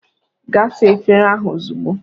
"Gaa saa efere ahụ ozugbo!"